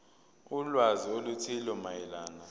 ulwazi oluthile mayelana